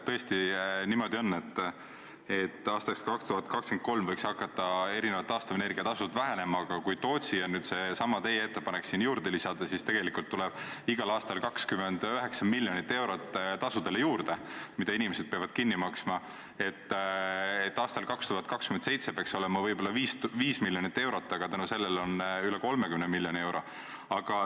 Tõesti, niimoodi on, et aastaks 2023 võiksid hakata taastuvenergia tasud vähenema, aga kui Tootsi ja seesama teie ettepanek juurde lisada, siis tegelikult tuleb igal aastal 29 miljonit eurot tasudele juurde, mida inimesed peavad kinni maksma, aastal 2027 peaks olema võib-olla 5 miljonit eurot, aga selle tõttu on üle 30 miljoni euro.